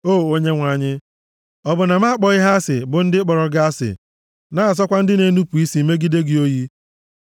O Onyenwe anyị, ọ bụ na m akpọghị ha asị bụ ndị kpọrọ gị asị, na-asọkwa ndị na-enupu isi megide gị oyi?